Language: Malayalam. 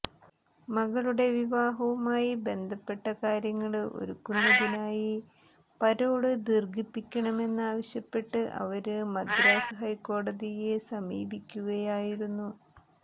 മകളുടെ വിവാഹവുമായി ബന്ധപ്പെട്ട കാര്യങ്ങള് ഒരുക്കുന്നതിനായി പരോള് ദീര്ഘിപ്പിക്കണമെന്നാവശ്യപ്പെട്ട് അവര് മദ്രാസ് ഹൈക്കോടതിയെ സമീപിക്കുകയായിരുന്നു